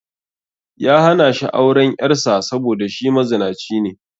Ya hana shi auren 'yar sa saboda shi mazinaci ne